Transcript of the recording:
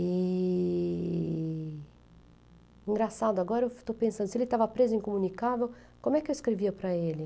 E... Engraçado, agora eu estou pensando, se ele tava preso incomunicável, como é que eu escrevia para ele?